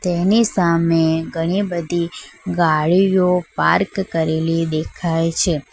એની સામે ઘણી બધી ગાડીઓ પાર્ક કરેલી દેખાય છે.